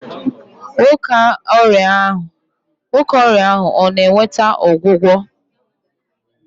Nwoke ọrịa ahụ ọ na-nweta ọgwụgwọ?